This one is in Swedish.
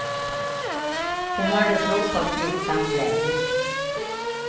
Det hördes rop av smittsam glädje.